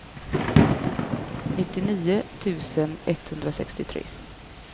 nittionio tusen etthundrasextiotre